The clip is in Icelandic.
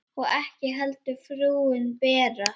Og ekki heldur frúin Bera.